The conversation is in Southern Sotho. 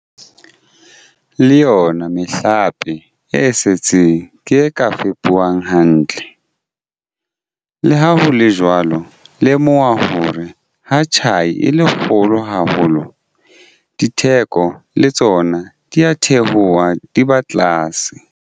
Le yona mehlape e setseng ke e ka fepuwang hantle. Le ha ho le jwalo, lemoha hore ha tjhai e le kgolo haholo, ditheko le tsona di a theoha, di ba tlase.